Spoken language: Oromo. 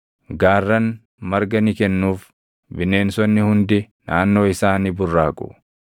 Gaarran marga ni kennuuf; bineensonni hundi naannoo isaa ni burraaqu.